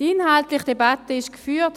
Die inhaltliche Debatte ist geführt.